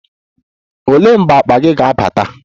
Olee mgbe akpa gị ga-abata?